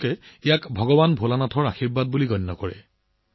তেওঁলোকে ইয়াক ভগৱান ভোলেনাথৰ আশীৰ্বাদ বুলি গণ্য কৰে